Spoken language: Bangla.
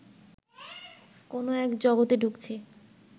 কোনও এক জগতে ঢুকছি